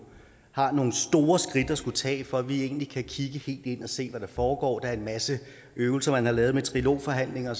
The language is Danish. har nogle store skridt at skulle tage for at vi egentlig kan kigge helt ind og se hvad der foregår der er en masse øvelser man har lavet med trilogforhandlinger